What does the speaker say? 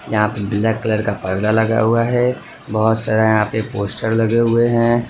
यहां पे black colour का पर्दा लगा हुआ है बहोत सारा यहां पे पोस्टर लगे हुए हैं।